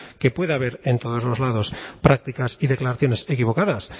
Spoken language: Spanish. que puede haber en todos los lados prácticas y declaraciones equivocadas